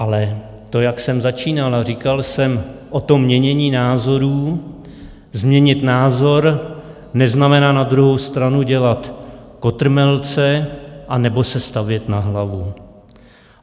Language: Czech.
Ale to, jak jsem začínal a říkal jsem o tom měnění názorů, změnit názor neznamená na druhou stranu dělat kotrmelce anebo se stavět na hlavu.